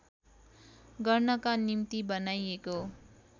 गर्नका निम्ति बनाइएको